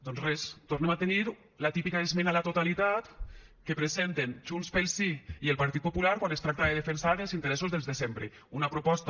doncs res tornem a tenir la típica esmena a la totalitat que presenten junts pel sí i el partit popular quan es tracta de defensar els interessos dels de sempre una proposta